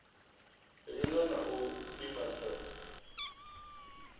linga na u pima sa